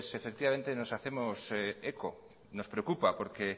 pues efectivamente nos hacemos eco nos preocupa porque